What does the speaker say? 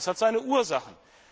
Das hat seine Ursachen.